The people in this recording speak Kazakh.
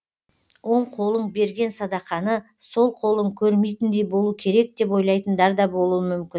оң қолың берген садақаны сол қолың көрмейтіндей болу керек деп ойлайтындар да болуы мүмкін